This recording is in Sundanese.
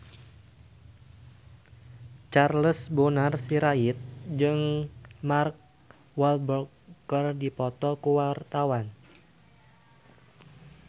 Charles Bonar Sirait jeung Mark Walberg keur dipoto ku wartawan